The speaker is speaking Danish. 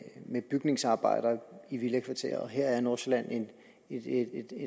med bygningsarbejder i villakvarterer og her er nordsjælland et